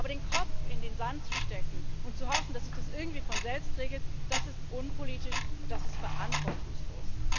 Aber den Kopf in den Sand zu stecken und zu hoffen, dass sich das irgendwie von selbst regelt, das ist unpolitisch, und das ist verantwortungslos.